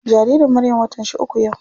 Jaririn Maryam watan shi uku yau.